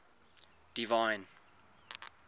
divine